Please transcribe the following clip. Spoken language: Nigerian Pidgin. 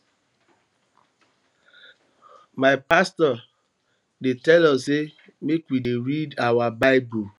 my pastor dey tell us sey make we dey read our bible